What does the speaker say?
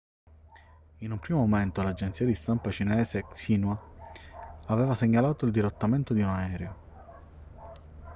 in un primo momento l'agenzia di stampa cinese xinhua aveva segnalato il dirottamento di un aereo